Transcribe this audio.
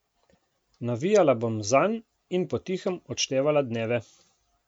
Navijala bom zanj in po tihem odštevala dneve ...